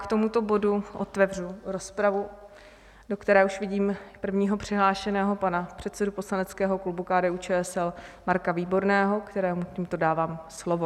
K tomuto bodu otevřu rozpravu, do které už vidím prvního přihlášeného pana předsedu poslaneckého klubu KDU-ČSL Marka Výborného, kterému tímto dávám slovo.